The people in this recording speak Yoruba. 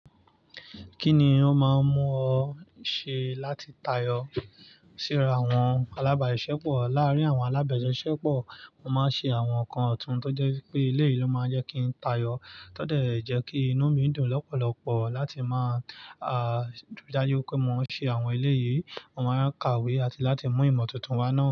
Kí ni ó máa ń mú ọ ṣe láti tayọ síra àwọn alábàṣisepo? Lárí àwọn alábàṣisepo mo máa ń ṣe àwọn nǹkan ọ̀tún tó jẹ́ pé eleyìí ló máa ń jẹ́ kí ń tayọ. Tó dẹ̀ ẹ jẹ́ kí inú mi dùn lọ́pọ̀lọpọ̀ láti máa, à, rí i dájú pé mo ń ṣe àwọn eleyìí, mo máa ń kàwé àti láti mú ìmọ̀ tuntun wá náà.